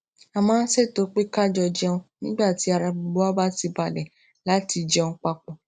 a máa ń ṣètò pé ká jọ jẹun nígbà tí ara gbogbo wa bá ti balè láti jẹun papò